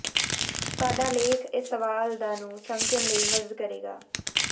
ਸਾਡਾ ਲੇਖ ਇਸ ਸਵਾਲ ਦਾ ਨੂੰ ਸਮਝਣ ਲਈ ਮਦਦ ਕਰੇਗਾ